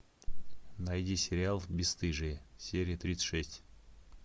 найди сериал бесстыжие серия тридцать шесть